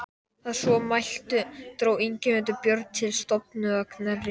Að svo mæltu dró Ingimundur Björn til stofu að Knerri.